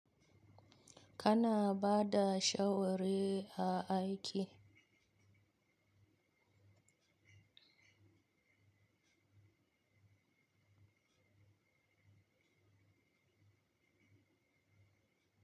Kana bada shawari a aiki?